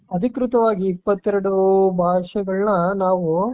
ಅಧಿಕೃತವಾಗಿ ಇಪ್ಪತ್ತೆರಡು ಭಾಷೆಗಳನ್ನ ನಾವು .